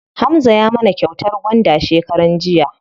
Hamza ya mana kyautar gwanda shekaran jiya.